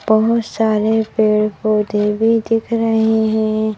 बहुत सारे पेड़-पौधे भी दिख रहे है।